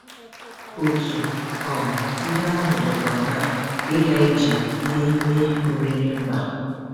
Otu um ihe ahụ dịkwa na ịga ije n’ime oriri mba.